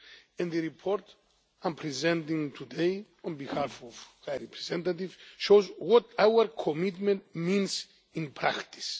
And the report I am presenting today on behalf of the High Representative shows what our commitment means in practice.